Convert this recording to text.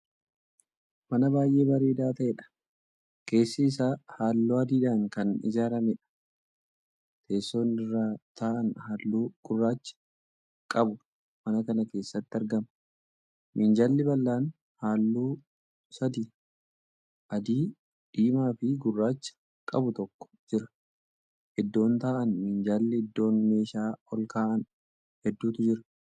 Mana baay'ee bareedaa ta'edha. keessi Isaa halluu adiidhaan Kan ijaarameedha. teessoon irra taa'an halluu gurraacha qabu mana Kana keessatti argama. minjaalli bal'aan halluu sadi(adii, diimaafi gurraacha) qabutokko jira. iddoon taa'an minjaalli iddoon meeshaa olkaa'an hedduutu Jira.